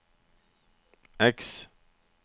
X